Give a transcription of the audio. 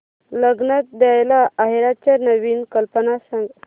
लग्नात द्यायला आहेराच्या नवीन कल्पना सांग